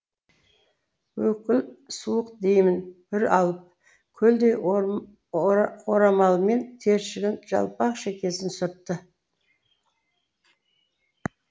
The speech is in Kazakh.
өкіл суық демін бір алып көлдей орамалмен тершіген жалпақ шекесін сүртті